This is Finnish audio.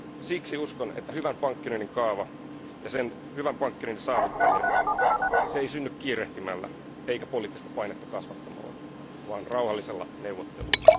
Siksi uskon, että hyvän pankkiunionin kaava ja hyvän pankkiunionin saavuttaminen ei synny kiirehtimällä eikä poliittista painetta kasvattamalla vaan rauhallisella neuvottelulla.